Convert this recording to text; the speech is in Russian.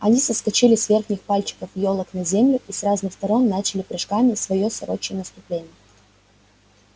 они соскочили с верхних пальчиков ёлок на землю и с разных сторон начали прыжками своё сорочье наступление